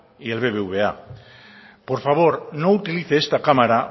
y el bbva por favor no utilice esta cámara